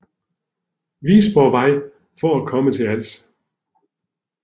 Visborgvej for at komme til Als